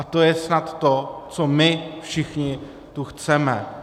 A to je snad to, co my všichni tu chceme.